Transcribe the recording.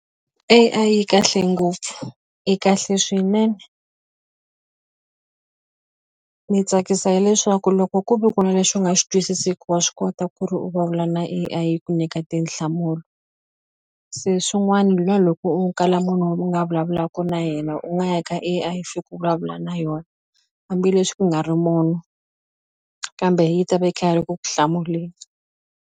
A_I yi kahle ngopfu i kahle swinene ni tsakisa hileswaku loko ku ve ku na lexi u nga xi twisisiku wa swi kota ku ri u vulavula na A_I yi ku nyika tinhlamulo se swin'wana la loko u kala munhu u nga vulavulaku na yena u nga ya ka A_I fika u vulavula na yona hambileswi ku nga ri munhu kambe yi ta va yi kha yi ri ku ku hlamuleni.